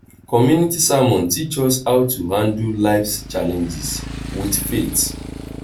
community sermon teach us how to handle life's challenges with faith.